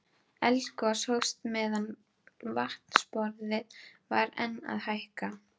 Eldgos hófst meðan vatnsborðið var enn að hækka.